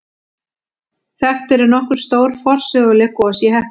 Þekkt eru nokkur stór forsöguleg gos í Heklu.